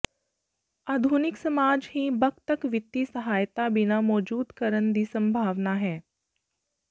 ਆਧੁਨਿਕ ਸਮਾਜ ਹੀ ਬਕ ਤੱਕ ਵਿੱਤੀ ਸਹਾਇਤਾ ਬਿਨਾ ਮੌਜੂਦ ਕਰਨ ਦੀ ਸੰਭਾਵਨਾ ਹੈ